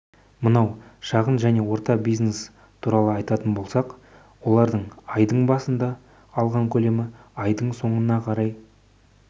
мынау шағын және орта бизнес туралы айтатын болсақ олардың айдың басында алған көлемі айдың соңына қарай